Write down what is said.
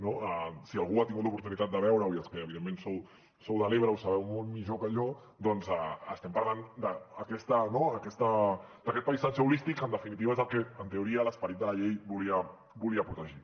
no si algú ha tingut l’oportunitat de veure ho i els que evidentment sou de l’ebre ho sabeu molt millor que jo doncs estem parlant d’aquest paisatge holístic que en definitiva és el que en teoria l’esperit de la llei volia protegir